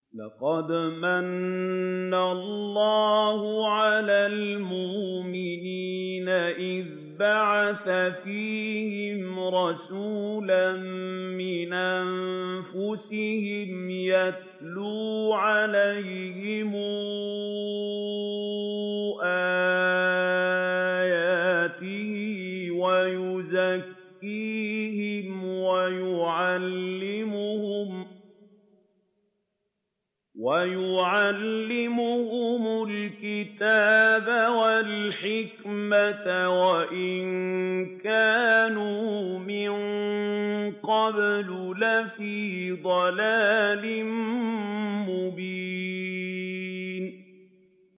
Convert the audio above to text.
لَقَدْ مَنَّ اللَّهُ عَلَى الْمُؤْمِنِينَ إِذْ بَعَثَ فِيهِمْ رَسُولًا مِّنْ أَنفُسِهِمْ يَتْلُو عَلَيْهِمْ آيَاتِهِ وَيُزَكِّيهِمْ وَيُعَلِّمُهُمُ الْكِتَابَ وَالْحِكْمَةَ وَإِن كَانُوا مِن قَبْلُ لَفِي ضَلَالٍ مُّبِينٍ